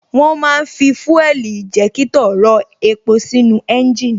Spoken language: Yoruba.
Wón ma ń fi fuel injector rọ epo sínú ẹ́ńjìnì